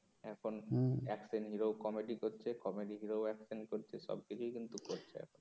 এখন action hero ও comedy করছে কমেডি হিরো ও অ্যাকশন করছে সব দিকেই কিন্তু করছে এখন